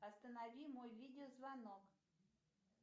останови мой видеозвонок